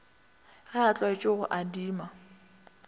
ge a tlwaetše go adima